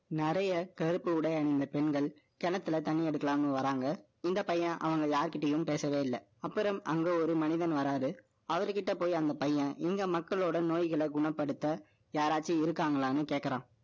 நிறைய கருப்பு உடை அணிந்த பெண்கள், கிணத்துல தண்ணி எடுக்கலான்னு வர்றாங்க. இந்த பையன், அவங்க யாருகிட்டயும் பேசவே இல்லை. அப்புறம், ஒரு மனிதன் வராரு. அவர் கிட்ட போய், அந்த பையன், இங்க மக்களோட நோய்களை குணப்படுத்த, யாராச்சும் இருக்காங்களான்னு கேட்கிறான்